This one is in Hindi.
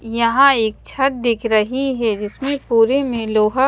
यहां एक छत दिख रही है जिसमें पूरे में लोहा--